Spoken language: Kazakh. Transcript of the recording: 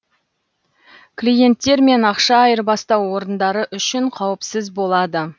клиенттер мен ақша айырбастау орындары үшін қауіпсіз болады